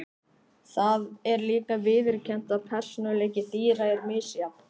Það er líka viðurkennt að persónuleiki dýra er misjafn.